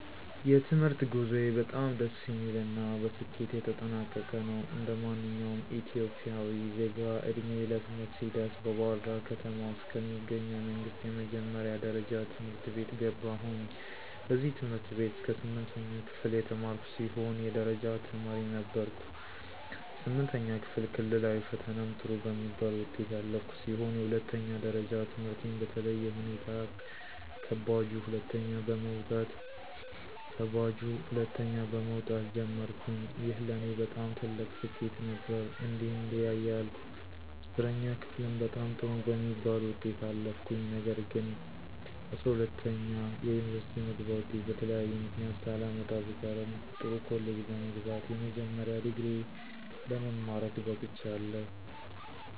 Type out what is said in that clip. የትምህርት ጉዞዬ በጣም ደስ የሚል እና በስኬት የተጠናቀቀ ነው። እንደማንኛውም ኢትዮጵያዊ ዜጋ ዕድሜዬ ለትምህርት ሲደርስ በባህርዳር ከተማ ውስጥ ከሚገኙ የመንግስት የመጀመሪያ ደረጃ ትምህርት ቤት ገባሁኝ። በዚህ ትምህርት ቤት እስከ ስምንተኛ ክፍል የተማርኩ ሲሆን የደረጃ ተማሪም ነበርኩኝ። ስምንተኛ ክፍል ክልላዊ ፈተናም ጥሩ በሚባል ውጤት ያለፍኩ ሲሆን የሁለተኛ ደረጃ ትምህርቴን በተለየ ሁኔታ ከባጁ ሁለተኛ በመወጣት ጀመርኩኝ። ይህ ለኔ በጣም ትልቅ ስኬት ነበር። እንዲህ እንዲያ እያልኩ 10ኛ ክፍልም በጣም ጥሩ በሚባል ውጤት አለፍኩኝ። ነገር ግንጰ12ኛ የዩኒቨርስቲ መግቢያ ወጤት በተለያየ ምክንያት ሳላመጣ ብቀርም ጥሩ ኮሌጅ በመግባት የመጀመሪያ ዲግሪየ ለመማረክ በቅቻለሁ።